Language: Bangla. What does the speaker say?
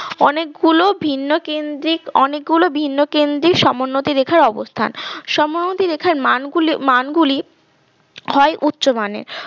অনেকগুলো ভিন্ন কেন্দ্রিক অনেকগুলো ভিন্ন কেন্দ্রিক সমোন্নতি রেখার অবস্থান সমোন্নতি রেখার মানগুলি মানগুলি হয় উচ্চমানের